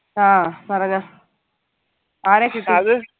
ആ പറഞ്ഞോ ആരെ